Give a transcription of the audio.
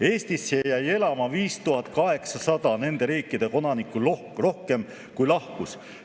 Eestisse jäi elama 5800 nende riikide kodanikku rohkem, kui lahkus.